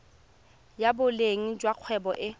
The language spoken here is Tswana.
ya boleng jwa kgwebo e